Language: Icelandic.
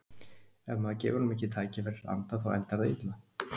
Ef maður gefur honum ekki tækifæri til að anda þá endar það illa.